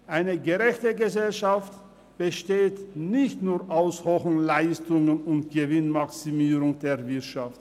Eine gerechte Gesellschaft besteht nicht nur aus hohen Leistungen und Gewinnmaximierung der Wirtschaft.